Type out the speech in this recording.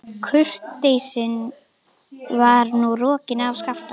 Kurteisin var nú rokin af Skapta.